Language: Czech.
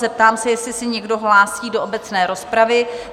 Zeptám se, jestli se někdo hlásí do obecné rozpravy?